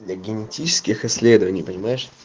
для генетических исследований понимаешь